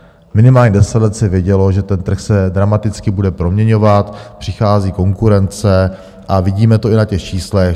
Minimálně deset let se vědělo, že ten trh se dramaticky bude proměňovat, přichází konkurence, a vidíme to i na těch číslech.